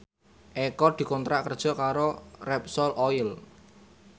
Eko dikontrak kerja karo Repsol Oil